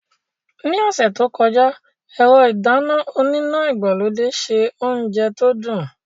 Ní ọ̀sẹ̀ tó kọjá, ẹ̀rọ ìdáná oníná ìgbàlódé se oúnjẹ tó dùn.